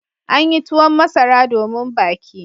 An yi tuwon masara domin baki.